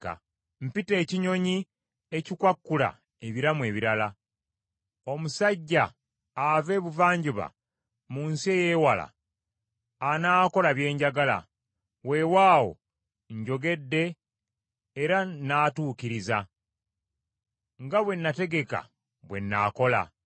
Mpita ekinyonyi ekikwakkula ebiramu ebirala. Omusajja ava ebuvanjuba mu nsi eyewala, anaakola bye njagala. Weewaawo njogedde era nnaatuukiriza. Nga bwe nategeka bwe nnaakola.